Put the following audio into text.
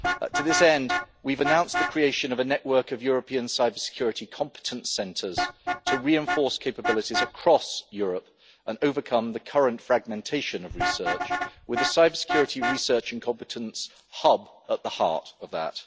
To this end, we have announced the creation of a network of European cybersecurity competence centres to reinforce capabilities across Europe and overcome the current fragmentation of research, with the cybersecurity research and competence hub at the heart of that.